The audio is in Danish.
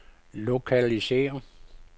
lokalisér